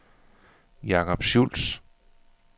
Jacob Schulz